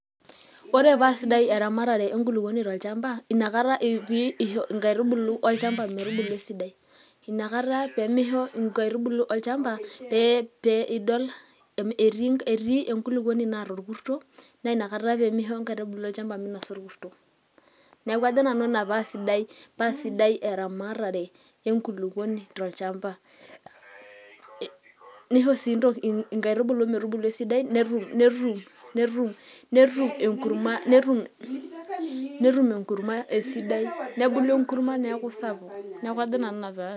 ore paa sidai eramatare enkulupuoni tolchampa, inakata pee isho inkaitubulu olchampa, olchampa metubulu esidai, inakata pee misho nkaitubulu olchampa pee idol etii, enkulupuoni naata orkurto, naa ina kata pee misho ebulu olchampa, minosa orkuto. neeku ajo naa ina paa sidai eramatata enkulupuoni tolchampa, nisho sii nkaitubulu metubulu esidai, netum enurma esidai.